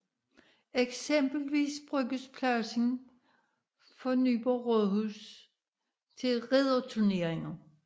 Eksempelvis bruges pladsen for Nyborg Rådhus til ridderturneringer